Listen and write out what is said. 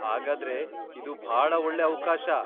ಹಾಗಾದ್ರೆ ಇದು ಭಾಳ ಒಳ್ಳೆ ಅವ್ಕಾಶ.